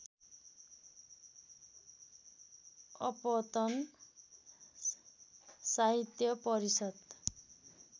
अपतन साहित्य परिषद्